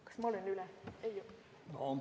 Kas ma olen üle läinud?